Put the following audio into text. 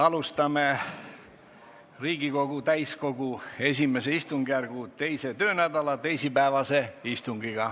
Alustame Riigikogu täiskogu I istungjärgu teise töönädala teisipäevast istungit.